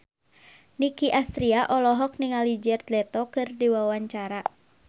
Nicky Astria olohok ningali Jared Leto keur diwawancara